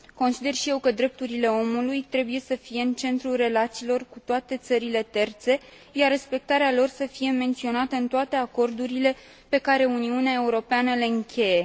Consider și eu că drepturile omului trebuie să fie în centrul relațiilor cu toate țările terțe, iar respectarea lor să fie menționată în toate acordurile pe care Uniunea Europeană le încheie.